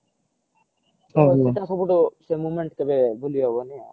ସେ moment କେବେ ଭୁଲି ହବନି